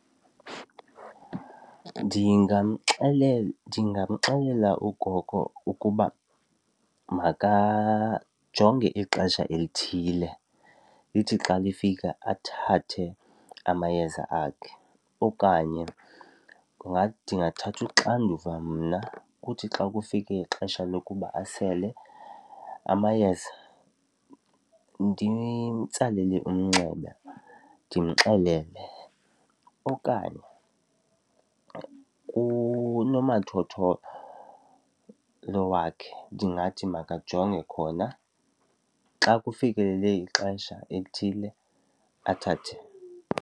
Ndingamxelela ndingamxelela ugogo ukuba makajonge ixesha elithile, lithi xa lifika athathe amayeza akhe okanye ndingathatha uxanduva mna kuthi xa kufike ixesha lokuba asele amayeza ndimtsalele umnxeba ndimxelele. Okanye unomathotholo lo wakhe ndingathi makajonge khona, xa kufikelele ixesha elithile athathe.